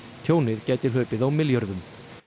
tjónið gæti hlaupið á milljörðum